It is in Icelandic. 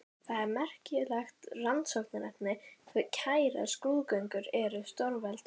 Það er merkilegt rannsóknarefni hve kærar skrúðgöngur eru stórveldum.